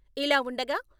ఇలా వుండగా..